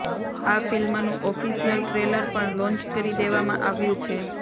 આ ફિલ્મનું official trailer પણ લોન્ચ કરી દેવામાં આવ્યું છે